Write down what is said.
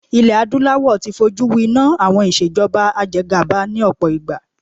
Ilé adúláwò ti fọ jú wi iná àwọn ìṣèjọba ajegàba ni ọ̀pọ̀ ìgbà.